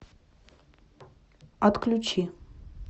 отключи